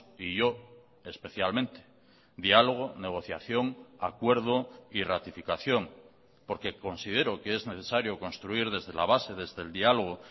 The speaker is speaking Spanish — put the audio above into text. y yo especialmente diálogo negociación acuerdo y ratificación porque considero que es necesario construir desde la base desde el diálogo